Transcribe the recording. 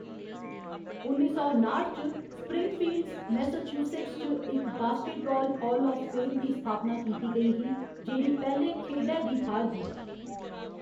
उन्नी सौ नाठ च, स्प्रिंगफील्ड, मैसाचुसेट्स च इक बास्केटबाल हाल आफ फेम दी स्थापना कीती गेई ही, जेह्‌‌ड़ी पैह्‌‌‌ले खेढै दी थाह्‌‌‌र ही।